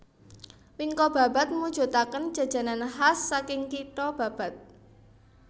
Wingko Babat mujutaken Jajanan khas saking kitho Babat